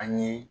An ye